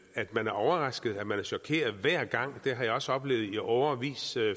at man er overrasket at man er chokeret hver gang har jeg også oplevet i årevis